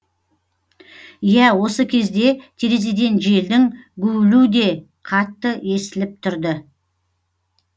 иә осы кезде терезеден желдің гуілу де қатты естіліп тұрды